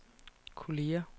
kolleger